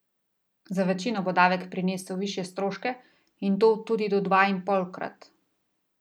Za večino bo davek prinesel višje stroške in to tudi do dva in polkrat.